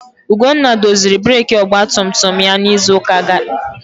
Ugonna odoziri breeki ọgba tum tum ya n'izu gara aga?